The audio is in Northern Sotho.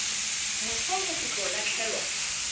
moso go se tlo lahlelwa